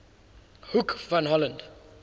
hoek van holland